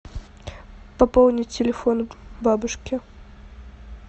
пополнить телефон бабушки